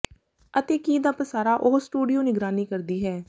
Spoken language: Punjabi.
ਅਤੇ ਕੀ ਦਾ ਪਸਾਰਾ ਉਹ ਸਟੂਡੀਓ ਨਿਗਰਾਨੀ ਕਰਦੀ ਹੈ